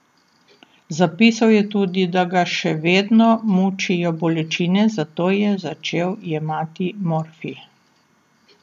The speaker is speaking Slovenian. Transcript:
Zapisal je tudi, da ga še vedno mučijo bolečine, zato je začel jemati morfij.